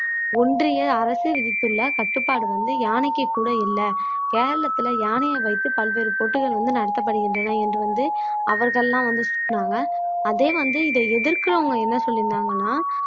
ஒன்றிய அரசு விதித்துள்ள கட்டுப்பாடு வந்து யானைக்கு கூட இல்லை கேரளத்துல யானையை வைத்து பல்வேறு போட்டிகள் வந்து நடத்தப்படுகின்றன என்று வந்து அவர்கள்லாம் வந்து சுட்டுனாங்க அதே வந்து இதை எதிர்க்கிறவங்க என்ன சொல்லியிருந்தாங்கன்னா